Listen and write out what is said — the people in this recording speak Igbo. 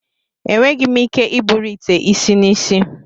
Enweghị m ike iburu ite isi n'isi.